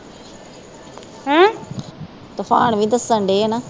ਤੂਫਾਨ ਵੀ ਦੱਸਣ ਡੇ ਹੈ ਨਾ